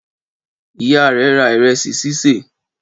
Ìyá rẹ ra ìrẹsì sísè?